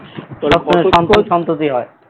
সন্ততি হয়